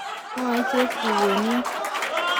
mwae chepkukoniot.